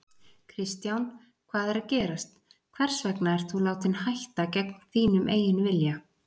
Kristján: Hvað er að gerast, hvers vegna ert þú látinn hætta gegn þínum eigin vilja?